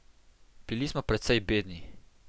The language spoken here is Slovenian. Bili smo precej bedni.